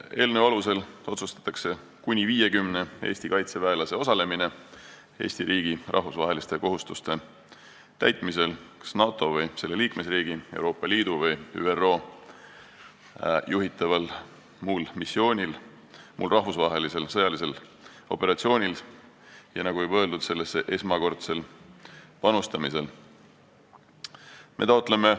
Eelnõu alusel otsustatakse kuni 50 Eesti kaitseväelase osalemine Eesti riigi rahvusvaheliste kohustuste täitmisel kas NATO või selle liikmesriigi, Euroopa Liidu või ÜRO juhitaval muul rahvusvahelisel sõjalisel operatsioonil sellesse esmakordsel panustamisel, nagu juba öeldud.